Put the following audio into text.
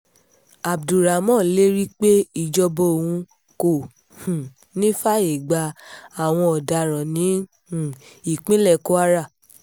abdulrahman lérí pé ìjọba òun kò um ní í fààyè gba àwọn ọ̀daràn ní um ìpínlẹ̀ kwara